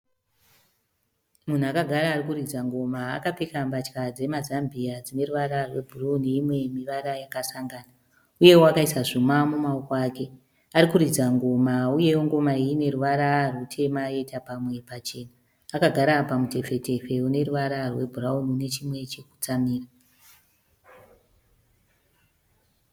Munhu akagara ari kuridza ngoma. Akapfeka mbatya dzemazambia dzine ruvara rwebhuruu neimwe mivara yakasangana, uyewo akaisa zvuma mumaoko ake. Ari kuridza ngoma uyewo ngoma iyi ine ruvara rutema yoita pamwe pachena. Akagara pamutepfetepfe une ruvara rwebhurauni nechimwe chekutsamira.